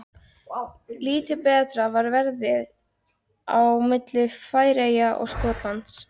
Lítið betra var veðrið á milli Færeyja og Skotlands.